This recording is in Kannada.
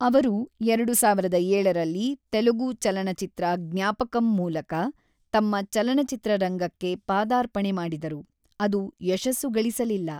ಅವರು ಎರಡು ಸಾವಿರದ ಏಳರಲ್ಲಿ ತೆಲುಗು ಚಲನಚಿತ್ರ ಜ್ಞಾಪಕಂ ಮೂಲಕ ತಮ್ಮ ಚಲನಚಿತ್ರರಂಗಕ್ಕೆ ಪಾದಾರ್ಪಣೆ ಮಾಡಿದರು, ಅದು ಯಶಸ್ಸು ಗಳಿಸಲಿಲ್ಲ.